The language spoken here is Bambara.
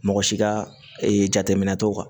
Mɔgɔ si ka jateminɛ t'o kan